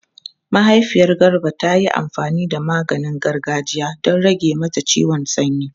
Mahaifiyar Garba ta yi amfani da maganin gargajiya don rage mata ciwon sanyi.